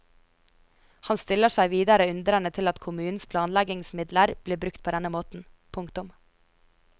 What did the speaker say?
Han stiller seg videre undrende til at kommunens planleggingsmidler blir brukt på denne måten. punktum